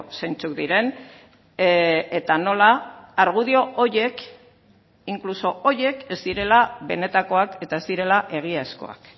zeintzuk diren eta nola argudio horiek incluso horiek ez direla benetakoak eta ez direla egiazkoak